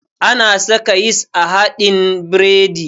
Ana saka yis a haɗin biredi